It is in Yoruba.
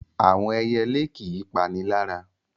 Àwọn ẹyelé kì í panilára.